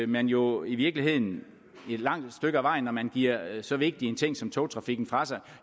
man jo i virkeligheden et langt stykke ad vejen når man giver så vigtig en ting som togtrafikken fra sig